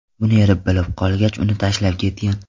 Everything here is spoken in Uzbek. Buni eri bilib qolgach, uni tashlab ketgan.